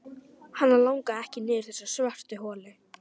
Hana langaði ekki niður í þessa svörtu holu.